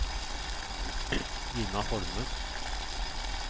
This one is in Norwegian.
Ina Holme